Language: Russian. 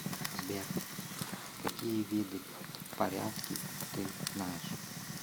сбер какие виды порядки ты знаешь